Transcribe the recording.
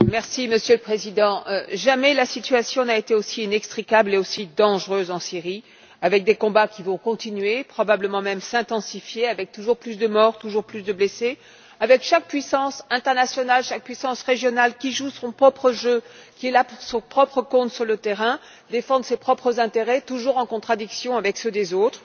Monsieur le Président, jamais la situation n'a été aussi inextricable et aussi dangereuse en Syrie, avec des combats qui vont continuer, probablement même s'intensifier, avec toujours plus de morts et toujours plus de blessés, avec chaque puissance internationale et chaque puissance régionale qui joue son propre jeu, qui est là pour son propre compte sur le terrain, pour défendre ses propres intérêts toujours en contradiction avec ceux des autres.